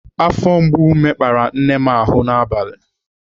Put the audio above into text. Afọ mgbu mekpara nne m ahụ n'abalị.